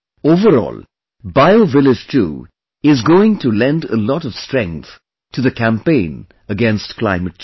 Overall, BioVillage 2 is going to lend a lot of strength to the campaign against climate change